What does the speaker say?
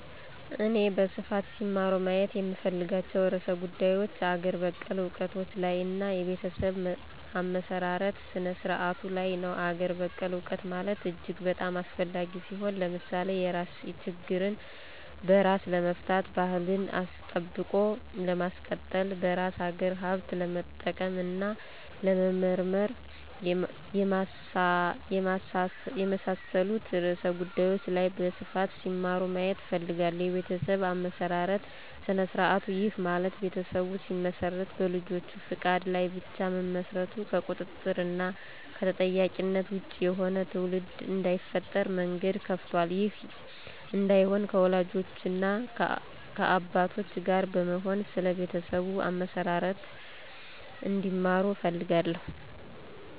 እኔ በስፋት ሲማሩ ማየት የምፈልጋቸው ርዕሰ ጉዳዮች አገር በቀል እውቀቶች ላይ እና የቤተሰብ አመሰራረት ስነ-ስርዓቱ ላይ ነው። -አገር በቀል እውቀት ማለት እጅግ በጣም አስፈላጊ ሲሆን። ለምሳሌ የራስ ችግርን በራስ ለመፍታት፣ ባህልን አስጠብቆ ለማስቀጠል፣ በራስ አገር ሀብት ለመጠቀም እና ለመመራመር፣ የመሳሠሉት ርዕሰ ጉዳዮች ላይ በስፋት ሲማሩ ማየት እፈልጋለሁ። -የቤተሠብ አመሠራርት ስነ-ስርዐቱ፦ ይህ ማለት ቤተሠብ ሲመሰረት በልጆች ፈቃድ ላይ ብቻ መመስረቱ ከቁጥጥር እና ከተጠያቂነት ወጭ የሆነ ትውልድ እዳይፈጠር መንገድ ከፍቷል። ይህ እዳይሆን ከወላጆች እና ከአባቶች ጋር በመሆን ስለ ቤተሠብ አመሠራርቱ እንዲማሩ እፈልጋለሁ